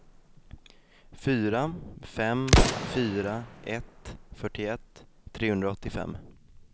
fyra fem fyra ett fyrtioett trehundraåttiofem